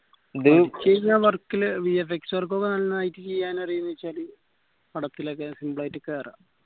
ച്ചെയ്യിന്ന work ല് VFXwork ഒക്കെ നന്നായിട്ട് ചെയ്യാനറിയാ വെച്ചാല് പടത്തിലൊക്കെ simple ആയിട്ട് കേറാ